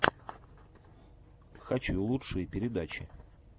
хочу лучшие передачи